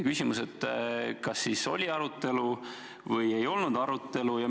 Küsimus: kas siis oli arutelu või ei olnud arutelu?